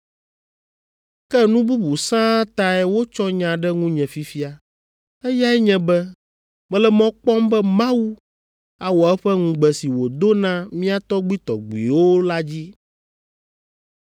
Ke nu bubu sãa tae wotsɔ nya ɖe ŋunye fifia, eyae nye be mele mɔ kpɔm be Mawu awɔ eƒe ŋugbe si wòdo na mía tɔgbuitɔgbuiwo la dzi.